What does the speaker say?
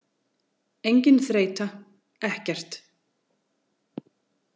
Engin þreyta, ekkert.